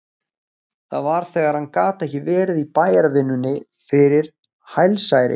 Það var þegar hann gat ekki verið í bæjarvinnunni fyrir hælsæri.